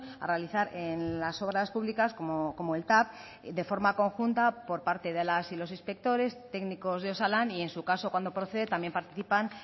a realizar en las obras públicas como el tav de forma conjunta por parte de las y los inspectores técnicos de osalan y en su caso cuando procede también participan